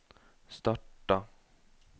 starta